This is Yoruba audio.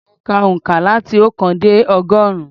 Mo ka òǹkà láti oókan dé ọgọ́rùn-ún.